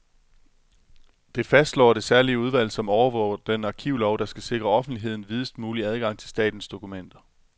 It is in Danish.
Det fastslår det særlige udvalg, som overvåger den arkivlov, der skal sikre offentligheden videst mulig adgang til statens dokumenter.